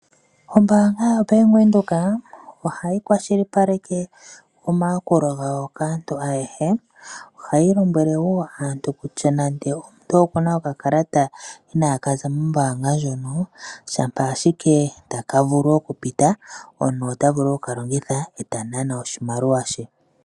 Ombaanga ya Venduka ohayi kwashilipaleke omayakulo gawo kaantu ayehe . Ohayi lombwele woo aantu kutya nande omuntu okuna okakalata inakaza mombaanga moka shampa ashike takavulu okupita omuntu otavulu oku kalongitha eta nana oshimaliwa she.